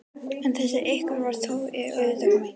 En þessi einhver var ekki til og auðvitað kom enginn.